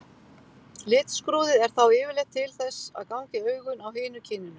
Litskrúðið er þá yfirleitt til þess að ganga í augun á hinu kyninu.